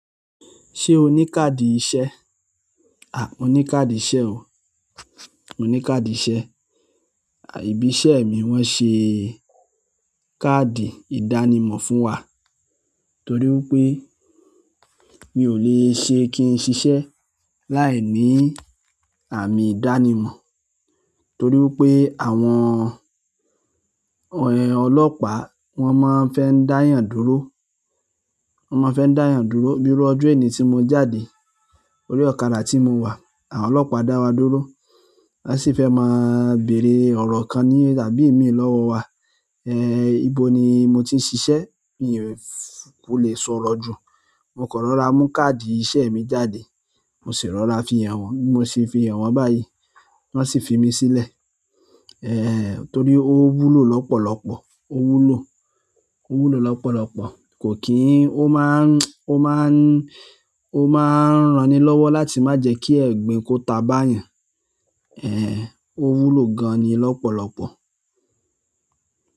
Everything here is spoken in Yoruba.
Ṣé o ní káàdì iṣẹ́? Mo ni káàdì iṣẹ́ o. Mo ní káàdì iṣẹ́. Ìbí iṣẹ́ mi wọ́n ṣe káàdì ìdánimọ̀ fún wa torí wípé mi ò le ṣe kí n ṣiṣẹ́ láìní àmì ìdánimọ̀ torí wípé àwọn ọlọ́pàá wọ́n máa ń fẹ́ ń dá eeyàn dúró, wọ́n máa ń fẹ́ ń dá eeyàn dúró. Bíru ọjọ́ èní si mo jáde orí ọ̀kadà tí mo wà, àwọn ọlọ́pàá dá wa dúró. Wọ́n sì fẹ́ máa bèrè ọ̀rọ̀ kan ní tàbí ìmíì lọ́wọ́ wa. Ibo ni mo ti ń ṣiṣẹ́? Mi kò le sọ̀rọ̀ jù. Mo kan rọra mú káàdì iṣẹ́ mi jáde, mo sì rọra fi hàn wọ́n, bi mo sì fi hàn wọ́n báyìí wọ́n sì fi mí sílẹ̀. Ehn torí ó wúlò lọ́pọ̀lọpọ̀, ó wúlò, ó wúlò lọ́pọ̀lọpọ̀. Kò kí n ó máa ń ran ni lọ́wọ́ láti má jẹ́ kí ẹ̀gbin kó ta báyẹn. Ehn ó wúlò gan-an ni lọ́pọ̀lọpọ̀.